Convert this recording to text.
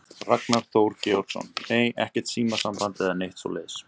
Ragnar Þór Georgsson: Nei, ekkert símasamband eða neitt svoleiðis?